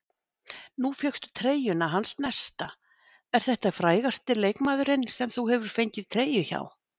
Nú fékkstu treyjuna hans Nesta, er þetta frægasti leikmaðurinn sem þú hefur fengið treyju hjá?